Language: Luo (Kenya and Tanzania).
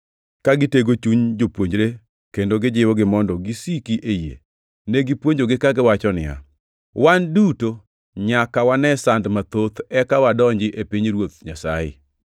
ka gitego chuny jopuonjre kendo gijiwogi mondo gisiki e yie. Negipuonjogi kagiwacho niya, “Wan duto nyaka wane sand mathoth eka wadonji e pinyruoth Nyasaye.”